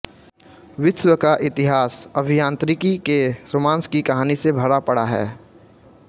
विश्व का इतिहास अभियांत्रिकी के रोमांस की कहानी से भरा पड़ा है